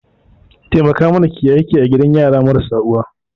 Taimaka mana ki yi aiki a gidan yara marasa uwa